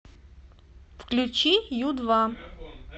включи ю два